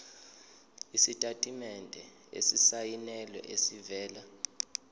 isitatimende esisayinelwe esivela